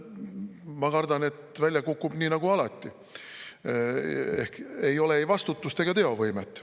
Ma kardan, et välja kukub nii nagu alati ehk ei ole ei vastutust ega teovõimet.